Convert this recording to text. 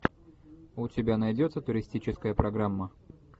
у тебя найдется туристическая программа